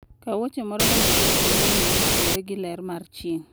Kaw wuoche moro mondo irwakne lewni motudore gi ler mar chieng'.